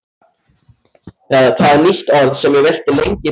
Það er nýtt orð sem ég velti lengi fyrir mér.